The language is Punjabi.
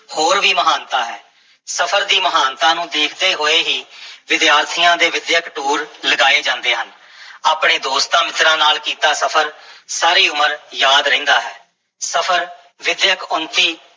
ਹੋਰ ਵੀ ਮਹਾਨਤਾ ਹੈ, ਸਫਰ ਦੀ ਮਹਾਨਤਾ ਨੂੰ ਦੇਖਦੇ ਹੋਏ ਹੀ ਵਿਦਿਆਰਥੀਆਂ ਦੇ ਵਿੱਦਿਅਕ ਟੂਰ ਲਗਾਏ ਜਾਂਦੇ ਹਨ ਆਪਣੇ ਦੋਸਤਾਂ-ਮਿੱਤਰਾਂ ਨਾਲ ਕੀਤਾ ਸਫ਼ਰ ਸਾਰੀ ਉਮਰ ਯਾਦ ਰਹਿੰਦਾ ਹੈ, ਸਫ਼ਰ ਵਿੱਦਿਅਕ ਉੱਨਤੀ